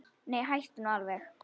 Nei, hættu nú alveg!